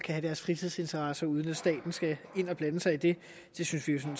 have deres fritidsinteresser uden at staten skal ind og blande sig i det det synes vi som